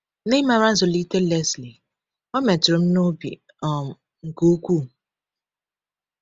N’ịmara nzụlite Lesley, o metụrụ m n’obi um nke ukwuu.